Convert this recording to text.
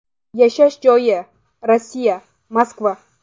Yashash joyi: Rossiya, Moskva.